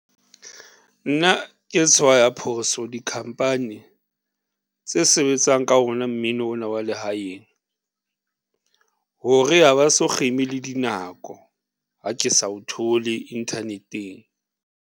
Nna ke tshwaya phoso dikhamphani tse sebetsang ka ona mmino ona wa lehaeng hore ha ba so kgeme le dinako ha ke sa o thole inthaneteng.